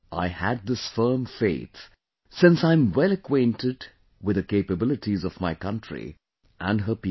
I had this firm faith, since I am well acquainted with the capabilities of my country and her people